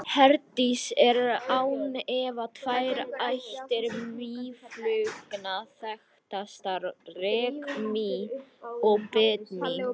Hérlendis eru án efa tvær ættir mýflugna þekktastar, rykmý og bitmý.